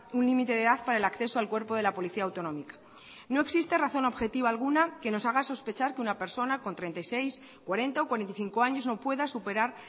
un límite de edad para el acceso al cuerpo de la policía autonómica no existe razón objetiva alguna que nos haga sospechar que una personas con treinta y seis cuarenta o cuarenta y cinco años no pueda superar